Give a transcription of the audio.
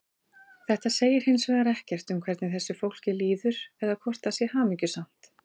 Þetta segir hins vegar ekkert um hvernig þessu fólki líður eða hvort það sé hamingjusamt.